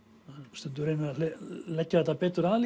stundum reynum við að leggja þetta betur að